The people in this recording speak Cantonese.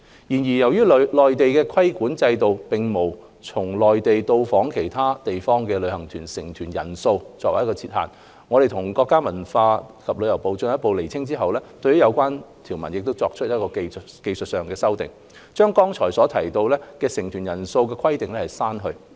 然而，由於內地的規管制度並無就從內地到訪其他地方的旅行團成團人數設限，我們與國家文化和旅遊部進一步釐清後，對有關條文作出了技術修訂，將剛才提到的成團人數規定刪去。